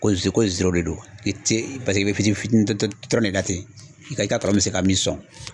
Ko ze ko de do i tɛ paseke i bɛ fitini fitini dɔrɔn de ta ten i ka i ka kɔlɔn bɛ se ka min sɔn.